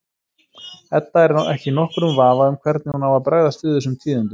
Edda er ekki í nokkrum vafa um hvernig hún á að bregðast við þessum tíðindum.